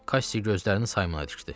Kassi gözlərini Saymona dikdi.